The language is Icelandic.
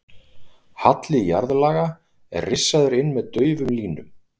Halli jarðlaga er rissaður inn með daufum línum.